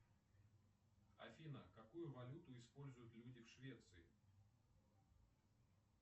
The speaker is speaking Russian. афина какую валюту используют люди в швеции